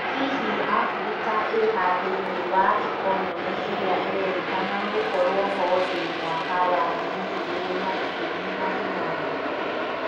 Hihi aburika ĩha thĩina wa ekonomĩ ĩrĩ ĩrĩrekana gũkoruo ho thĩ mwaka wa ngiri igĩrĩ na ikũmi na inyanya?